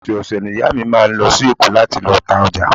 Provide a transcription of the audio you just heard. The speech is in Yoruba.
Ọ̀sẹ̀ ọ̀sẹ̀ ni ìyá mi máa ń lọ sí Èkó láti lọ ta ọjà